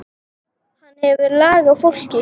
Hann hefur lag á fólki.